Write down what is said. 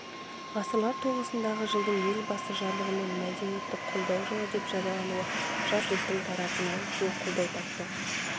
ғасырлар тоғысындағы жылдың елбасы жарлығымен мәдениетті қолдау жылы деп жариялануы жалпы көпшіліктің тарапынан кең қолдау тапты